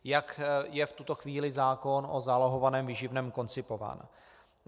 Jak je v tuto chvíli zákon o zálohovaném výživném koncipován.